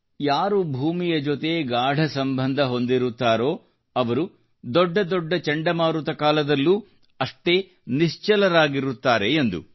ಯಾರು ಭೂಮಿಯ ಜೊತೆ ಗಾಢಸಂಬಂಧ ಹೊಂದಿರುತ್ತಾರೋ ಅವರು ದೊಡ್ಡ ದೊಡ್ಡ ಚಂಡಮಾರುತದ ಕಾಲದಲ್ಲೂ ಅಷ್ಟೇ ನಿಶ್ಚಲರಾಗಿರುತ್ತಾರೆ ಎಂದು